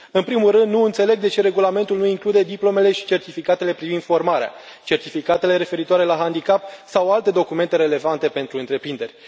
În primul rând, nu înțeleg de ce regulamentul nu include diplomele și certificatele privind formarea, certificatele referitoare la handicap sau alte documente relevante pentru întreprinderi.